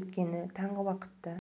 өйткені таңғы уақытта